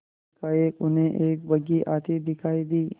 एकाएक उन्हें एक बग्घी आती दिखायी दी